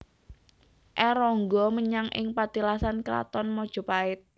R Ronggo menyang ing patilasan Kraton Mojopait